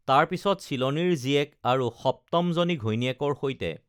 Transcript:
তাৰ পিছত চিলনীৰ জীয়েক আৰু সপ্তমজনী ঘৈণীয়েকৰ সৈতে